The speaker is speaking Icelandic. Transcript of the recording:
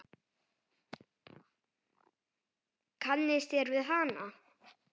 Kannist þér við hana?